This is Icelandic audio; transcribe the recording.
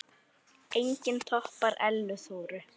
Enginn toppar Ellu Þóru.